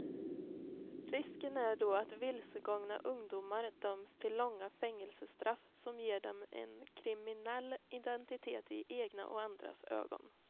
Risken är då att vilsegångna ungdomar döms till långa fängelsestraff som ger dem en kriminell identitet i egna och andras ögon.